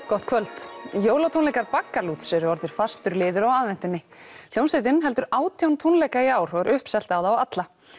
gott kvöld jólatónleikar Baggalúts eru orðnir fastur liður á aðventunni hljómsveitin heldur átján jólatónleika í ár og er uppselt á þá alla